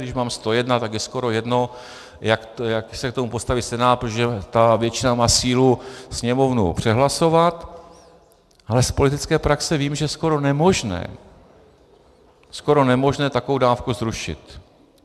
Když mám 101, tak je skoro jedno, jak se k tomu postaví Senát, protože ta většina má sílu Sněmovnou přehlasovat, ale z politické praxe vím, že je skoro nemožné, skoro nemožné takovou dávku zrušit.